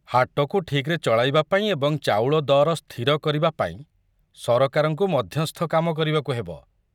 ହାଟକୁ ଠିକରେ ଚଳାଇବା ପାଇଁ ଏବଂ ଚାଉଳ ଦର ସ୍ଥିର କରିବାପାଇଁ ସରକାରଙ୍କୁ ମଧ୍ୟସ୍ଥ କାମ କରିବାକୁ ହେବ।